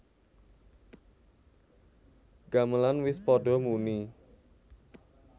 Gamelan wis padha muni